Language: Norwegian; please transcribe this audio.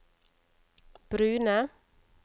brune